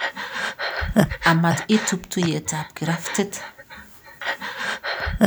Amat itub tuiyetap kiraftit.